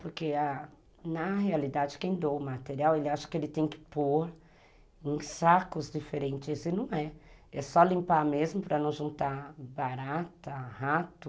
Porque na realidade, quem doa o material, ele acha que ele tem que pôr em sacos diferentes e não é. É só limpar mesmo para não juntar barata, rato...